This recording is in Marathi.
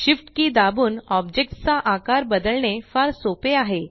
Shift कि दाबून ऑब्जेक्ट्स चा आकार बदलणे फार सोपे आहे